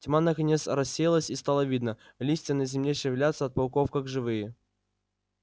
тьма наконец рассеялась и стало видно листья на земле шевелятся от пауков как живые